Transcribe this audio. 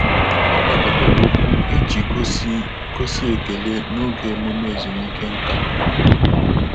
Ọ́ kwàdòbèrè okwu iji gósí gósí ekele n’ógè ememe ezumike nkà.